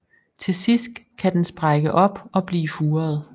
Til sidst kan den sprække op og blive furet